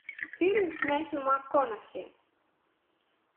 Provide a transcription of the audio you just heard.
фильм с мэттью макконахи